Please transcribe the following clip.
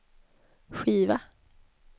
skiva